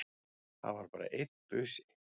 Það var bara einn busi!